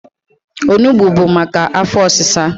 Onugbo bu maka afọ ọsịsa.